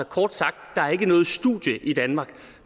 kort sagt der er ikke noget studie i danmark